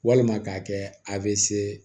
Walima k'a kɛ a bɛ se